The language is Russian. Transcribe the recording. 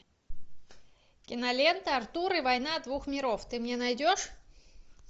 кинолента артур и война двух миров ты мне найдешь